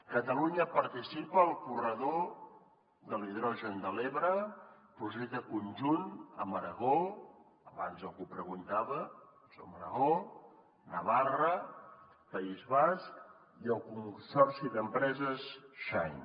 catalunya participa al corredor de l’hidrogen de l’ebre projecte conjunt amb aragó abans algú ho preguntava navarra país basc i el consorci d’empreses shein